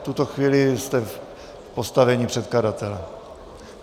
V tuto chvíli jste v postavení předkladatele.